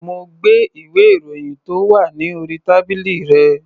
Mo gbé ìwé-ìròyìn tó wà ní orí tábìlì rẹ̀.